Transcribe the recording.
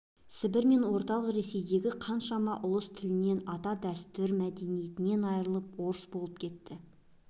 сібір мен орталық ресейдегі қаншама ұлыс тілінен ата дәстүрі мәдениетінен айрылып орыс болып кетті